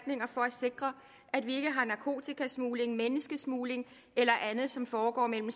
sikre at vi ikke har narkotikasmugling menneskesmugling eller andet som foregår mellem